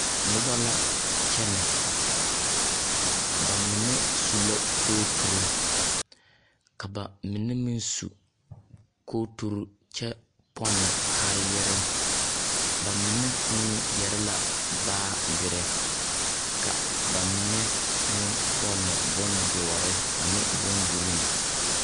Noba la kyɛnɛ, ba mine so la kooturu ka ba mine meŋ sunkooturu kyɛ pɔnne kaayɛrɛɛ. Ba mine yɛre la baagere ka ba mine meŋ pɔnne bondɔre ane boŋgiriiŋ.